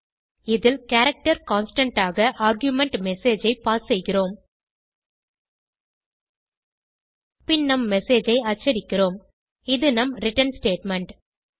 இதில் character constant ஆக argument MSG ஐ பாஸ் செய்கிறோம் பின் நம் எம்எஸ்ஜி ஐ அச்சடிக்கிறோம் இது நம் ரிட்டர்ன் ஸ்டேட்மெண்ட்